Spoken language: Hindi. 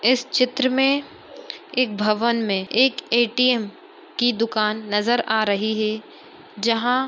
इस चित्र में इस भवन में एक ए_टी_एम की दुकान नज़र आ रही है। जहाँ --